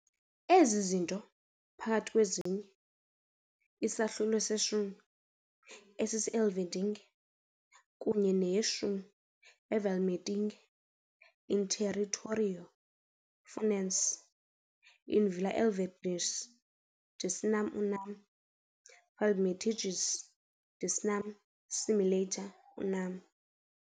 Ezi zinto, phakathi kwezinye, isahlulo seshumi esise-Elverdinge kunye neyeshumi eVlamertinge - "In territorio Furnensi, in villa Elverzenges, decinam unam, Flambertenges decinam similiter unam".